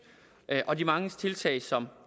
og de mange tiltag som